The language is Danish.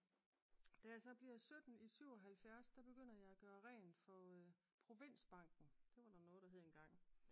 Da jeg så bliver sytten i 77 der begynder jeg at gøre rent for provinsbanken det var der noget der hed engang